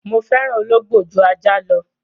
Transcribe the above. Mo fẹ́ràn Ológbò jú Ajá lọ.